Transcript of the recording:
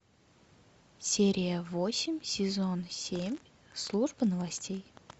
серия восемь сезон семь служба новостей